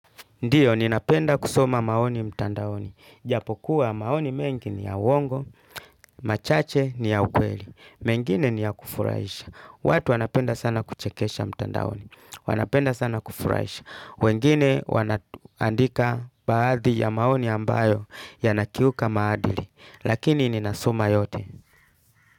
Ndio, ninapenda kusoma maoni mtandaoni. Japokuwa, maoni mengi ni ya uwongo, machache ni ya ukweli. Mengine ni ya kufuraisha. Watu wanapenda sana kuchekesha mtandaoni. Wanapenda sana kufuraisha. Wengine wana andika baadhi ya maoni ambayo ya nakiuka maadili. Lakini, ninasoma yote.